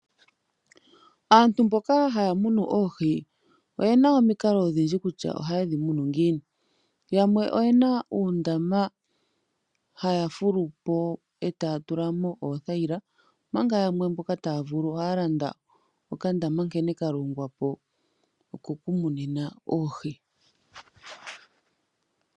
Aantu mboka haya munu oohi oyena omikalo odhindji kutya oha yedhi munu ngiini. Yamwe oyena uundama haya fulu po e taya tula mo oothayila manga yamwe mboka taya vulu ohaya landa okandama nkene ka longwa po oko ku munina Oohi.